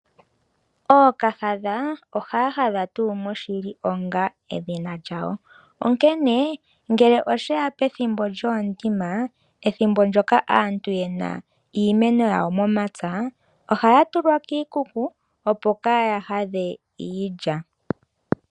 Ookahadha ohaya hadha tuu moshili onga edhina lyawo, onkene ngele oshe ya pethimbo lyoondima, ethimbo ndyoka aantu ye na iimeno yawo momapya ohaya tulwa kiikuku, opo kaaya hadhe iilya.